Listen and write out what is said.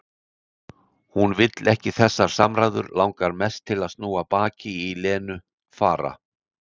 Hún vill ekki þessar samræður, langar mest til að snúa baki í Lenu, fara.